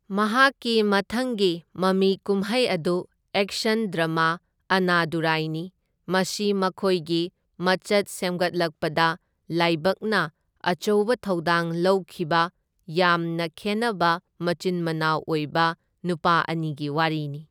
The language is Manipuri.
ꯃꯍꯥꯛꯀꯤ ꯃꯊꯪꯒꯤ ꯃꯃꯤ ꯀꯨꯝꯍꯩ ꯑꯗꯨ ꯑꯦꯛꯁꯟ ꯗ꯭ꯔꯃꯥ ꯑꯟꯅꯥꯗꯨꯔꯥꯏꯅꯤ, ꯃꯁꯤ ꯃꯈꯣꯏꯒꯤ ꯃꯆꯠ ꯁꯦꯝꯒꯠꯂꯛꯛꯄꯗ ꯂꯥꯏꯕꯛꯅ ꯑꯆꯧꯕ ꯊꯧꯗꯥꯡ ꯂꯧꯈꯤꯕ ꯌꯥꯝꯅ ꯈꯦꯟꯅꯕ ꯃꯆꯤꯟ ꯃꯅꯥꯎ ꯑꯣꯏꯕ ꯅꯨꯄꯥ ꯑꯅꯤꯒꯤ ꯋꯥꯔꯤꯅꯤ꯫